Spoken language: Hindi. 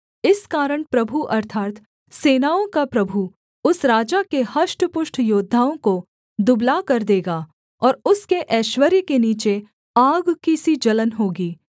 इस कारण प्रभु अर्थात् सेनाओं का प्रभु उस राजा के हष्टपुष्ट योद्धाओं को दुबला कर देगा और उसके ऐश्वर्य के नीचे आग की सी जलन होगी